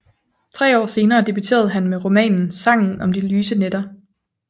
Tre år senere debuterede han med romanen Sangen om de lyse nætter